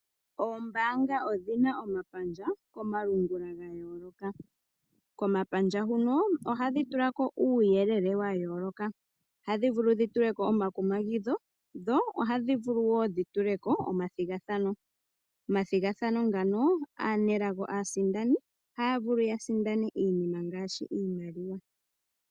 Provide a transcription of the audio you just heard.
Oombanga odhina omapandja komalungula ga yooloka. Komapandja huno ohadhi tula ko uuyelele wa yooloka. Ohadhi vulu dhi tule ko omakumagidho dho ohadhi vulu wo dhi tule ko omathigathano. Omathigathano ngano aanelago aasindani ohaya vulu ya sindane iinima ngaashi iimaliwa.